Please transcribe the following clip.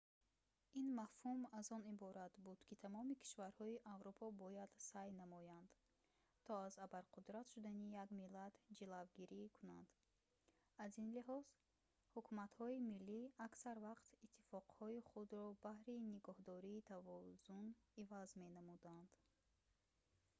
ин мафҳум аз он иборат буд ки тамоми кишварҳои аврупо бояд саъй намоянд то аз абарқудрат шудани як миллат ҷилавгирӣ кунанд аз ин лиҳоз ҳукуматҳои миллӣ аксар вақт иттифоқҳои худро баҳри нигоҳдории тавозун иваз менамуданд